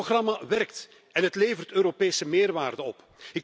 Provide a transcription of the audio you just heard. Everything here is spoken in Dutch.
Dit programma werkt en het levert Europese meerwaarde op.